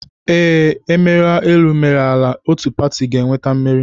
Ee, e mere elu e mere ala, otu pati ga-enweta mmeri